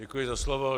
Děkuji za slovo.